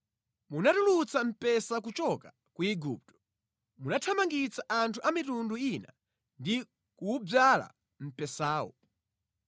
Munatulutsa mpesa kuchoka ku Igupto; munathamangitsa anthu a mitundu ina ndi kuwudzala mpesawo.